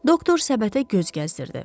Doktor səbətə göz gəzdirdi.